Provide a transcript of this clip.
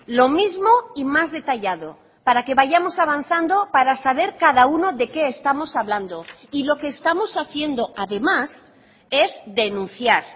lo mismo y más detallado para que vayamos avanzando para saber cada uno de qué estamos hablando y lo que estamos haciendo además es denunciar